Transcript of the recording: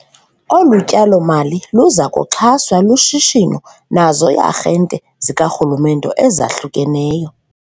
Olu tyalo-mali luza kuxhaswa lushishino nazo ii-arhente zikarhulumnte ezahlukeneyo.